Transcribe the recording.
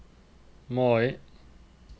Mai